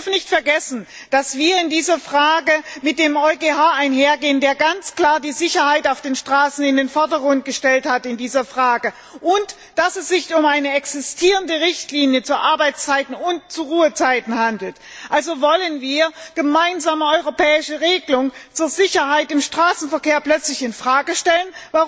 Wir dürfen nicht vergessen, dass wir in dieser Frage mit dem EuGH einhergehen, der in dieser Frage ganz klar die Sicherheit auf den Straßen in den Vordergrund gestellt hat, und dass es sich um eine existierende Richtlinie zu Arbeits und Ruhezeiten handelt. Wollen wir eine gemeinsame europäische Regelung zur Sicherheit im Straßenverkehr plötzlich in Frage stellen?